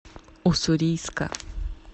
уссурийска